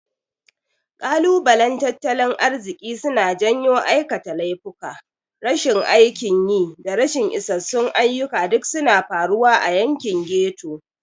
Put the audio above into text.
Kalubalen tattalin arziki suna janyo aikata laifuka, rashin aikin yi, da rashin isassun ayyuka duk suna faruwa a yankin ghetto.